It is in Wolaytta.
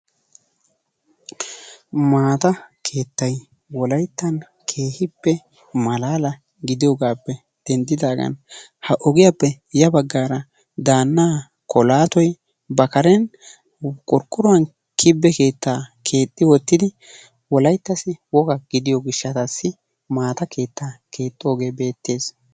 Maata keettay wolayttan keehippe malaala gidiyogaappe denddidaagan ha ogiyappe ya baggaara daannaa kolaatoyi ba karen qorqqoruwan kibbe keettaa keexxi wottidi wolayttassi woga gidiyo gishshataassi maataa keettaa keexxoogee beettees.